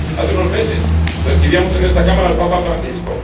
Hace unos meses, recibíamos en esta Cámara al Papa Francisco.